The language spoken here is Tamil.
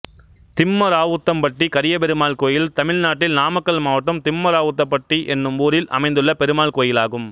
திம்மராவுத்தம்பட்டி கரியபெருமாள் கோயில் தமிழ்நாட்டில் நாமக்கல் மாவட்டம் திம்மராவுத்தம்பட்டி என்னும் ஊரில் அமைந்துள்ள பெருமாள் கோயிலாகும்